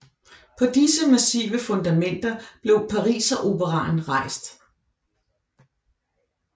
På disse massive fundamenter blev Pariseroperaen rejst